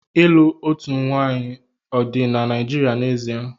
Ịlụ otu nwanyị ọ dị na Naịjirịa n'ezie?